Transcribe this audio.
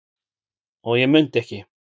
og ég mundi ekki.